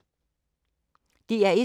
DR1